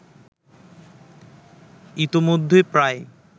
ইতোমধ্যেই প্রায়